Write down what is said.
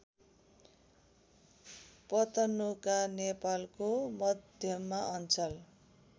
पतनुका नेपालको मध्यमाञ्चल